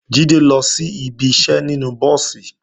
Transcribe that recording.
Jídé lọ sí ibi iṣẹ́ nínú búùsì